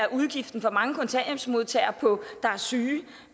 af udgiften for mange kontanthjælpsmodtagere der er syge